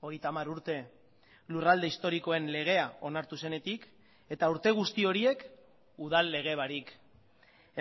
hogeita hamar urte lurralde historikoen legea onartu zenetik eta urte guzti horiek udal lege barik